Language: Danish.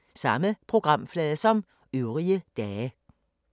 Samme programflade som øvrige dage